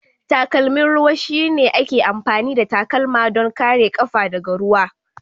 Takalmin ruwan shine ake amfani da takalma don kare ƙafa daga ruwa.